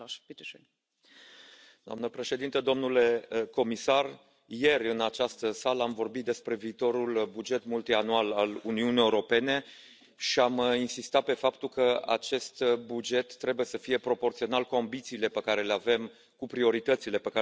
Doamna președintă, domnule comisar, ieri în această sală am vorbit despre viitorul buget multianual al Uniunii Europene și am insistat pe faptul că acest buget trebuie să fie proporțional cu ambițiile pe care le avem, cu prioritățile pe care le avem pentru Uniunea Europeană.